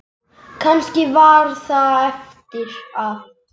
Kannski var það eftir að